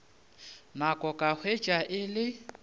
nako ka hwetša e le